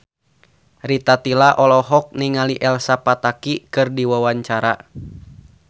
Rita Tila olohok ningali Elsa Pataky keur diwawancara